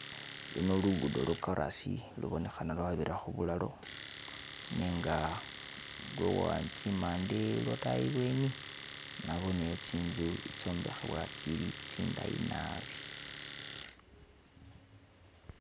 Luno lugudo lwo korasi lubonekhana lwa bira khubulalo nenga tsimande lwotayi ibweni naboneyo tsinzu itsombekhebwa tsili tsindayi naabi.